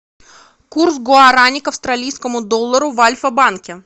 курс гуарани к австралийскому доллару в альфа банке